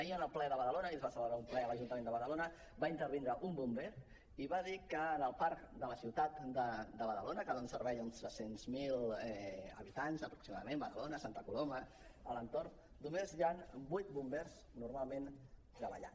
ahir en el ple de badalona ahir es va celebrar un ple a l’ajuntament de badalona va intervenir un bomber i va dir que en el parc de la ciutat de badalona que dona servei a uns tres cents miler habitants aproximadament badalona santa coloma a l’entorn només hi han vuit bombers normalment treballant